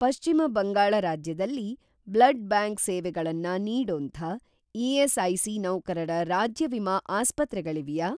ಪಶ್ಚಿಮ ಬಂಗಾಳ ರಾಜ್ಯದಲ್ಲಿ blood bank ಸೇವೆಗಳನ್ನ ನೀಡೋಂಥ ಇ.ಎಸ್.ಐ.ಸಿ. ನೌಕರರ ರಾಜ್ಯ ವಿಮಾ ಆಸ್ಪತ್ರೆಗಳಿವ್ಯಾ?